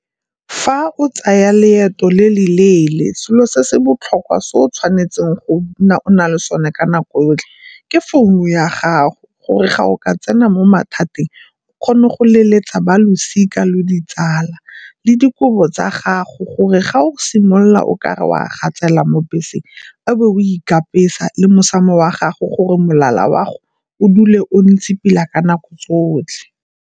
Fa o tsaya leeto le le leele selo se se botlhokwa se o tshwanetseng go nna o na le sone ka nako yotlhe ke founu ya gago gore ga o ka tsena mo mathateng o kgone go leletsa ba losika le ditsala, le dikobo tsa gago gore ga o simolola o ka re o a gatsela mo beseng a bo o ikatisa le mosamo wa gago gore molala wa go o dule o ntse pila ka nako tsotlhe.